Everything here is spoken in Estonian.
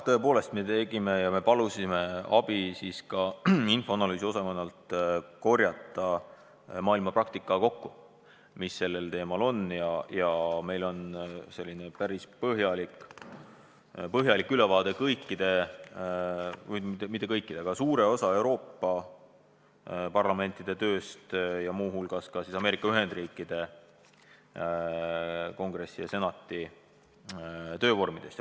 Tõepoolest me palusime meie analüüsiosakonnal korjata maailmapraktika kokku ja meil on päris põhjalik ülevaade kõikide, õigemini mitte kõikide, vaid suure osa Euroopa parlamentide tööst ja lisaks ka Ameerika Ühendriikide Kongressi ja Senati töövormidest.